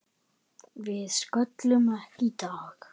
Við sköllum ekki í dag!